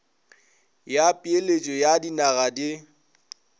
ya peeletšo ya dinaga di